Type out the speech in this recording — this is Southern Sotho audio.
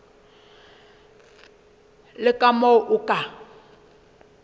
le ka moo o ka